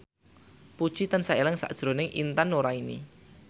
Puji tansah eling sakjroning Intan Nuraini